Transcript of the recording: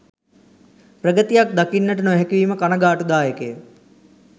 ප්‍රගතියක් දකින්නට නොහැකිවීම කණගාටුදායක ය.